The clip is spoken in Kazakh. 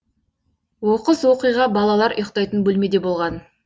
оқыс оқиға балалар ұйықтайтын бөлмеде болған